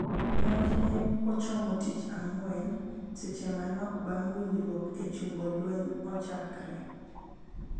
Monj ne ochomo tich ang'wen, seche manok bang' winjruok e chungo lweny ochakre.